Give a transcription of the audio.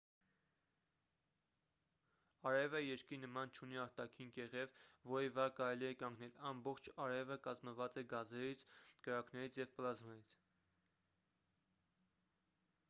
արևը երկրի նման չունի արտաքին կեղև որի վրա կարելի է կանգնել ամբողջ արևը կազմված է գազերից կրակներից և պլազմայից